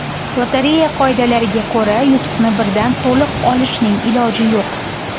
Lotereya qoidalariga ko‘ra, yutuqni birdan to‘liq olishning iloji yo‘q.